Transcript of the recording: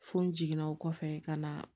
Fo n jiginna o kɔfɛ ka na